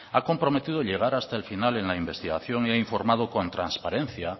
ha comprometido llegar hasta el final en la investigación y ha informado con transparencia